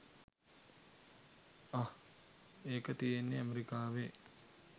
අහ් ඒක තියෙන්නේ ඇමරිකාවේ.